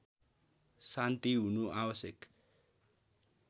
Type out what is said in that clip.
शान्ति हुनु आवश्यक